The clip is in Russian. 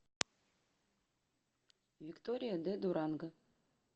виктория де дуранго